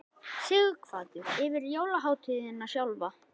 Sighvatur: Yfir jólahátíðina sjálfa?